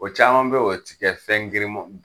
O caman be ye o ti kɛ fɛn girin mɔ